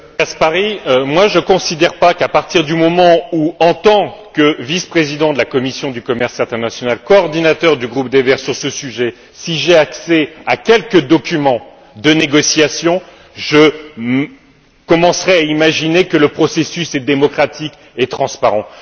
Monsieur Caspary, je ne considère pas qu'à partir du moment où, en tant que vice président de la commission du commerce international, coordinateur du groupe des Verts Alliance libre européenne, sur ce sujet, j'ai accès à quelques documents de négociation, je commencerai à imaginer que le processus est démocratique et transparent.